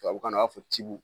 Tubabukan na a b'a fɔ tibu